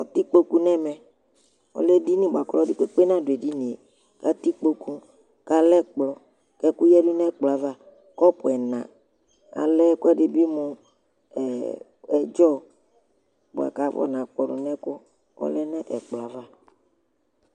Atɩɩkpokʊ nemɛ, ɔlɛ edɩnɩ di buajʊ ɔlidɩ kpekpekpe nadʊ Edinɩe atɩiƙpokʊ, ƙalɛ ɛkplɔ Ɛkʊ yadʊ nʊ ɛkplɔ ava, ƙɔpʊ ɛŋa Alz ekʊedɩ bi mʊ ɛɖzɔ ɓʊakʊ afɔ ŋaƙpɔdʊ ŋɛkʊ, ɔlɛ ŋʊ ɛkplɔ ava